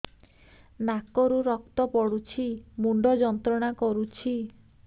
ନାକ ରୁ ରକ୍ତ ପଡ଼ୁଛି ମୁଣ୍ଡ ଯନ୍ତ୍ରଣା କରୁଛି